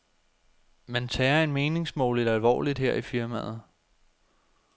Man tager en meningsmåling alvorligt her i firmaet.